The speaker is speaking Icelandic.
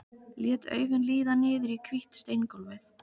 Lét augun líða niður í hvítt steingólfið.